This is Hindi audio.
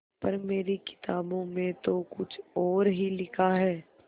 पर मेरी किताबों में तो कुछ और ही लिखा है